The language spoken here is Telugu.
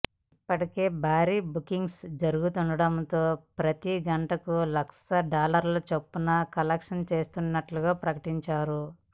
ఇప్పటికే భారీగా బుకింగ్స్ జరుగుతుండటంతో ప్రతీ గంటకు లక్ష డాలర్ల చొప్పున కలెక్ట్ చేస్తున్నట్టుగా ప్రకటించారు